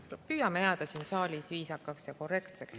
Püüame jääda siin saalis viisakaks ja korrektseks!